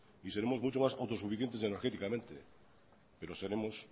y seremos mucho más autosuficientes energéticamente pero seremos